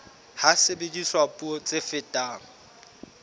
ha sebediswa puo tse fetang